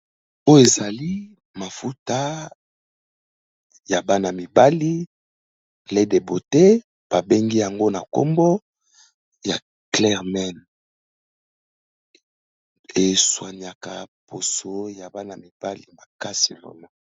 Oyo ezali mafuta ya bana mibali lait de beauté ba bengi yango na nkombo ya clair man, eswaniaka poso ya bana-mibali makasi vraiment.